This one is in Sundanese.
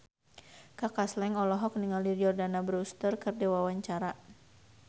Kaka Slank olohok ningali Jordana Brewster keur diwawancara